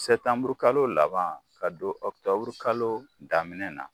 Sɛbutanburukalo laban ka don oktɔburukalo daminɛna.